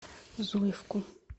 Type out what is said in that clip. зуевку